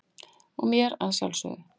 og mér að sjálfsögðu.